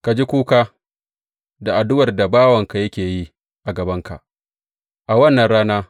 Ka ji kuka da addu’ar da bawanka yake yi a gabanka a wannan rana.